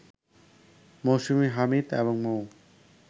মৌসুমী হামিদ এবং মৌ